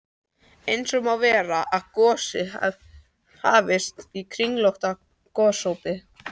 Eins má vera, að gosið hafi hafist á kringlóttu gosopi.